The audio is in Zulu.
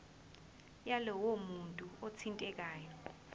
yalowo muntu othintekayo